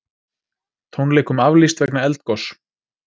Tónleikum aflýst vegna eldgoss